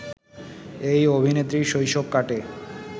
এই অভিনেত্রীর শৈশব কাটে